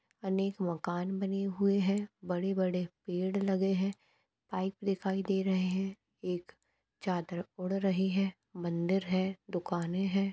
अनेक मकान बने हुए है बड़े बड़े पेड़ लगे हुए है बाइक दिखाई दे रहे है एक चादर उड रही है मंदिर है दुकाने है।